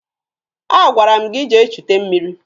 Agwara m gị jee chute mmiri!